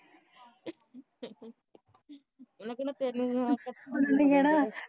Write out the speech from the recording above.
ਉਹਨੇ ਕਹਿਣਾ ਤੈਨੂੰ ਵੀ ਨਾਲ਼ ਕੱਪ ਭੇਜਣ ਪਿਆ ਕਰਨਾ